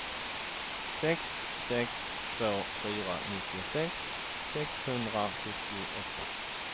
sex sex två fyra nittiosex sexhundrasjuttioåtta